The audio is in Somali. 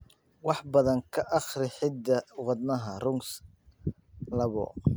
Wax badan ka akhri hidda-wadaha RUNX labo.